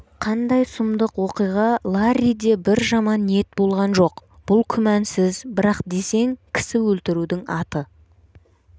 қандай сұмдық оқиға ларриде бір жаман ниет болған жоқ бұл күмәнсіз бірақ десең кісі өлтірудің аты